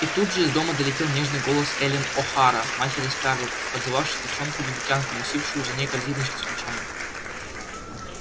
и тут же из дома долетел нежный голос эллин охара матери скарлетт подзывавшей девчонку-негритянку носившую за ней корзиночки с ключами